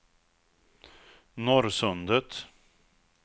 Norrsundet